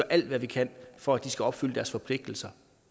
alt hvad vi kan for at de skal opfylde deres forpligtelser